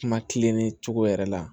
Kuma kilenni cogo yɛrɛ la